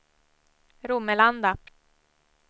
Romelanda